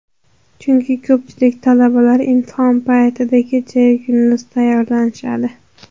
Chunki ko‘pchilik talabalar imtihon paytida kecha-yu kunduz tayyorlanishadi.